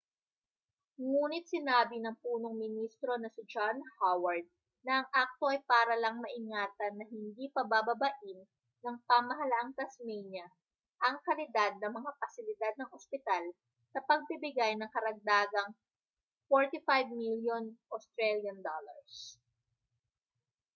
ngunit sinabi ng punong ministro na si john howard na ang akto ay para lang maingatan na hindi pabababain ng pamahalaang tasmania ang kalidad ng mga pasilidad ng ospital sa pagbibigay ng karagdagang aud$45 milyon